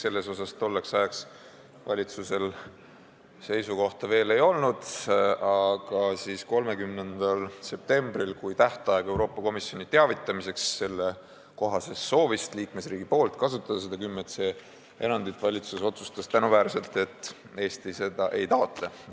Selle kohta valitsusel tolleks ajaks veel seisukohta ei olnud, aga 30. septembril, kui oli tähtaeg teavitada Euroopa Komisjoni liikmesriigi soovist kasutada seda artikli 10c erandit, otsustas valitsus – tänuväärselt –, et Eesti seda ei taotle.